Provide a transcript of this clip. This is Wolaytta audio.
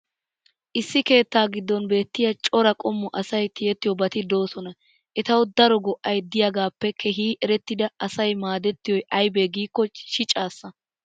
issi keettaa giddon beetiya cora qommo asay tiyettiyoobati doosona. etawu daro go''ay diyaagaappe keehi erettidi asay maadettiyoy aybee giikko shicisaassa.